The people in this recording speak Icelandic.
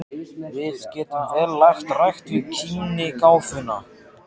Við getum vel lagt rækt við kímnigáfuna.